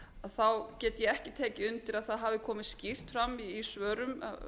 þá get ég ekki tekið undir að það hafi komið skýrt fram í svörum